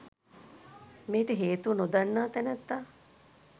මෙයට හේතුව නොදන්නා තැනැත්තා